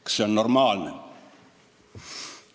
Kas see on normaalne?